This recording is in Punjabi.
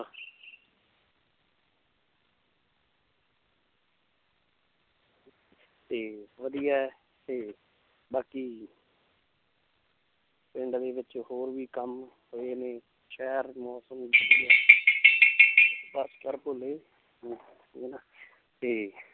ਤੇ ਵਧੀਆ ਹੈ ਤੇ ਬਾਕੀ ਪਿੰਡ ਦੇ ਵਿੱਚ ਹੋਰ ਵੀ ਕੰਮ ਹੋਏ ਨੇ ਸ਼ਹਿਰ ਮੌਸਮ ਤੇ